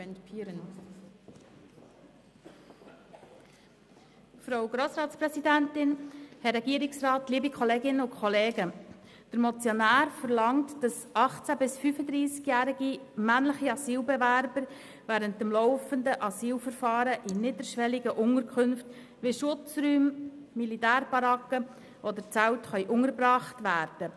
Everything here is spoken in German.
Der Motionär verlangt, dass 18 bis 35-jährige männliche Asylbewerber während des laufenden Verfahrens in niederschwelligen Unterkünften wie Schutzräumen, Militärbarracken oder Zelten untergebracht werden.